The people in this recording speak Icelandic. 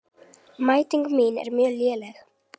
Mæting mín er mjög léleg.